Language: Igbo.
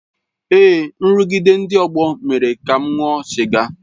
Èé, nrụgide ndị ọgbọ mere ka m ṅụọ sịga.